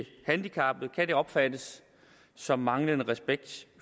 handicappede kan det opfattes som manglende respekt